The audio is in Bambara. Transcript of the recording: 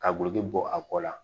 Ka gulɔki bɔ a kɔ la